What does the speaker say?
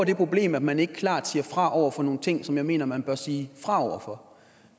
problemer at man ikke klart siger fra over for nogle ting som jeg mener man bør sige fra over for